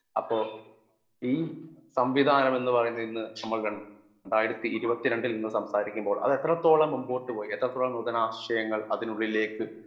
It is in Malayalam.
സ്പീക്കർ 1 അപ്പൊ ഈ സംവിധാനമെന്നു പറയുന്നതിൽനിന്നു നമ്മൾ രണ്ടായിരത്തി ഇരുപത്തിരണ്ടിൽ നിന്നു സംസാരിക്കുമ്പോൾ അത് എത്രത്തോളം മുൻപോട്ട്പോയി എത്രത്തോളം നൂതനാശയങ്ങൾ അതിനുള്ളിലേക്ക്